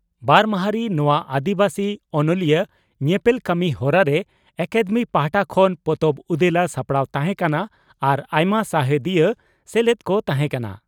ᱵᱟᱨ ᱢᱟᱦᱟᱸᱨᱤ ᱱᱚᱣᱟ ᱟᱹᱫᱤᱵᱟᱹᱥᱤ ᱚᱱᱚᱞᱤᱭᱟᱹ ᱧᱮᱯᱮᱞ ᱠᱟᱹᱢᱤ ᱦᱚᱨᱟᱨᱮ ᱟᱠᱟᱫᱮᱢᱤ ᱯᱟᱦᱴᱟ ᱠᱷᱚᱱ ᱯᱚᱛᱚᱵ ᱩᱫᱮᱞᱟ ᱥᱟᱯᱲᱟᱣ ᱛᱟᱦᱮᱸ ᱠᱟᱱᱟ ᱟᱨ ᱟᱭᱢᱟ ᱥᱟᱣᱦᱮᱫᱤᱭᱟᱹ ᱥᱮᱞᱮᱫ ᱠᱚ ᱛᱟᱦᱮᱸ ᱠᱟᱱᱟ ᱾